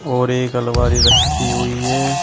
और एक अलमारी रखी हुई है।